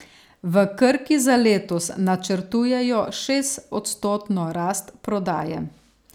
V Krki za letos načrtujejo šestodstotno rast prodaje.